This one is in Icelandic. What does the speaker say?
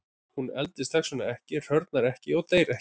Hann eldist þess vegna ekki, hrörnar ekki og deyr ekki.